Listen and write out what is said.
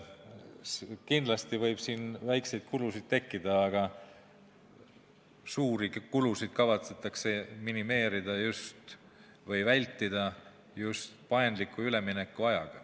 Kindlasti võib siin väikseid kulusid tekkida, aga suuri kulusid kavatsetakse minimeerida või vältida just paindliku üleminekuajaga.